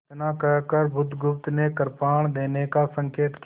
इतना कहकर बुधगुप्त ने कृपाण देने का संकेत किया